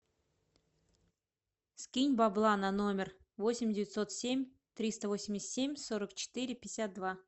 скинь бабла на номер восемь девятьсот семь триста восемьдесят семь сорок четыре пятьдесят два